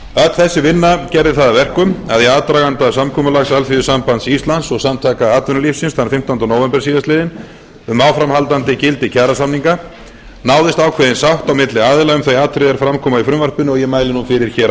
öll þessi vinna gerði það að verkum að í aðdraganda samkomulags alþýðusambands íslands og samtaka atvinnulífsins þann fimmtánda nóvember síðastliðnum um áframhaldandi gildi kjarasamninga náðist ákveðin sátt milli aðila um þau atriði er fram komu í frumvarpinu og ég mæli nú fyrir á